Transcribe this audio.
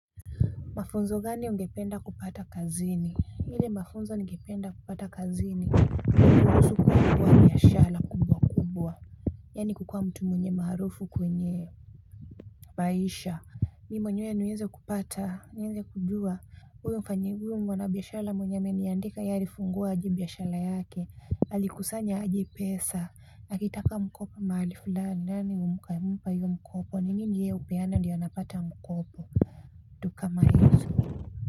Mafunzo gani ungependa kupata kazini ile mafunzo ningependa kupata kazini ni kuhusu kufungua biashara kubwa yaani kukuwa mtu mwenye maarufu kwenye maisha mi mwenyewe niweze kupata niweze kujua huyo mfanyi mwana biashara mwenye ameniandika yeye alifungua aje biashara yake alikusanya aje pesa akitaka mkopo mahali fulani nani humpa hiyo mkopo ni nini yeye hupeana ndiyo anapata mkopo vitu kama hizo.